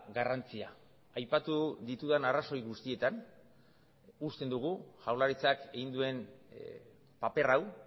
garrantzia aipatu ditudan arrazoi guztietan usten dugu jaurlaritzak egin duen paper hau